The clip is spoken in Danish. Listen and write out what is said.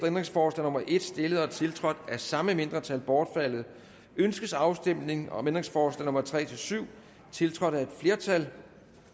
ændringsforslag nummer en stillet og tiltrådt af de samme mindretal bortfaldet ønskes afstemning om ændringsforslag nummer tre syv tiltrådt af et flertal